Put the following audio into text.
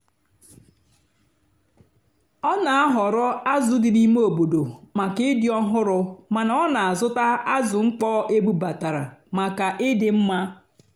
ọ́ nà-àhọ̀rọ́ ázụ́ dì n'íìmé óbòdò màkà ị́dì́ ọ́hụ́rụ́ màná ọ́ nà-àzụ́tá ázụ́ mkpọ́ ébúbátàrá màkà ị́dì́ mmá.